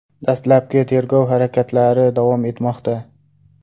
Dastlabki tergov harakatlari davom etmoqda.